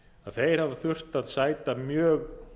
þeir hafa þurft að sæta mjög